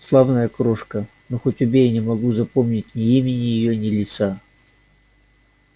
славная крошка но хоть убей не могу запомнить ни имени её ни лица